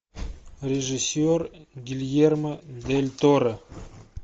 режиссер гильермо дель торо